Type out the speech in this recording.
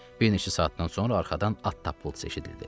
Bir neçə saatdan sonra arxadan at tapıltısı eşidildi.